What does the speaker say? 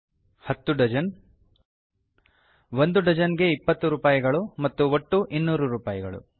10 dozen ಒಂದು dozen ಗೆ 20 ರೂಪಾಯಿಗಳು ಮತ್ತು ಒಟ್ಟು 200 ರೂಪಾಯಿಗಳು